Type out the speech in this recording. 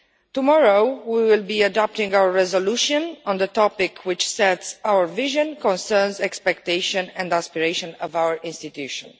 Tomorrow we will be adopting our resolution on the topic, which sets out the vision, concerns, expectations and aspirations of our institution.